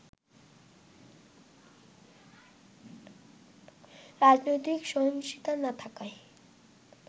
রাজনৈতিক সহিংসতা না থাকায়